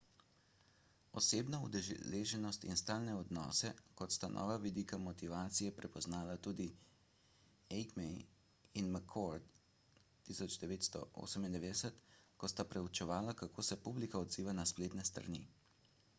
»osebno udeleženost« in »stalne odnose« sta kot nova vidika motivacije prepoznala tudi eighmey in mccord 1998 ko sta preučevala kako se publika odziva na spletne strani